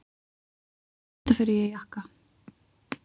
Auðvitað fer ég í jakka.